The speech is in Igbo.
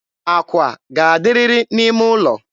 akwa ga-adịrịrị n'ime ụlọ.